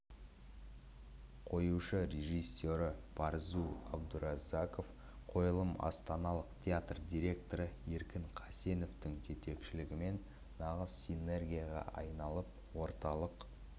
қоюшы режиссері барзу абдураззаков қойылым астаналық театр директоры еркін қасеновтың жетекшілігімен нағыз синергияға айналып орталық